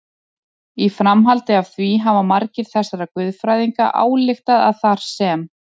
Í framhaldi af því hafa margir þessara guðfræðinga ályktað að þar sem